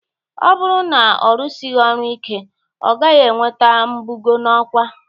Ọ bụrụ na ọ rụsighị ọrụ ike, ọ gaghị enweta mbugo n'ọkwa.